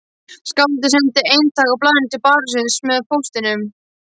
Skáldið sendi eintak af blaðinu til barónsins með póstinum.